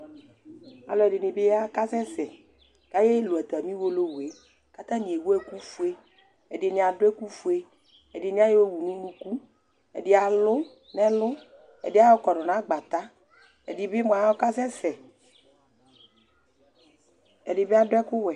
Alʋɛdɩnɩ bɩ ya kasɛsɛ Ayaɣa kelu atamɩ uwolowu yɛ kʋ tanɩ ewu ɛkʋfue, ɛdɩnɩ adʋ ɛkʋfue, ɛdɩnɩ ayɔwu nʋ unuku, ɛdɩ alʋ nʋ ɛlʋ, ɛyɔ kɔdʋ nʋ agbata Ɛdɩ bɩ mʋa, ɔkasɛsɛ, ɛdɩ bɩ adʋ ɛkʋwɛ